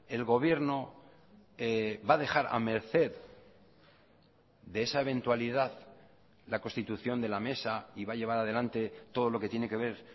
el gobierno va a dejar a merced de esa eventualidad la constitución de la mesa y va a llevar adelante todo lo que tiene que ver